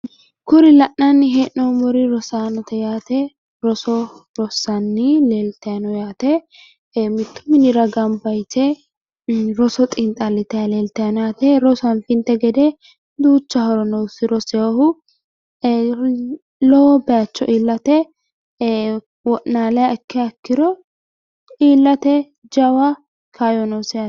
kuri la'nanni hee'noomori rosaanote yaate roso rossanni leelitayi no yaate mittu minira gamba yite roso xiinxalitanni leelitayi no yaate rosu anfinte gede duucha horo noosi rosinohu lowo bayiicho iillate wo'naliha ikkiro iillate jawa kaayyo noosi yaate